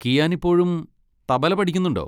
കിയാന് ഇപ്പോഴും തബല പഠിക്കുന്നുണ്ടോ?